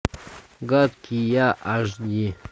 гадкий я аш ди